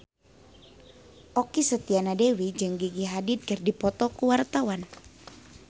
Okky Setiana Dewi jeung Gigi Hadid keur dipoto ku wartawan